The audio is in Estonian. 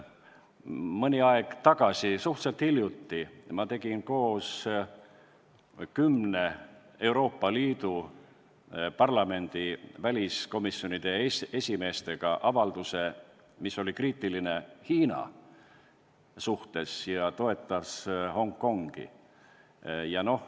Mõni aeg tagasi, suhteliselt hiljuti tegin ma koos kümne Euroopa Liidu riigi parlamendi väliskomisjonide esimeestega avalduse, mis oli kriitiline Hiina suhtes ja toetas Hongkongi.